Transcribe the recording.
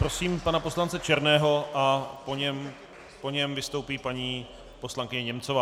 Prosím pana poslance Černého a po něm vystoupí paní poslankyně Němcová.